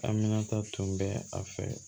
Aminata tun bɛ a fɛ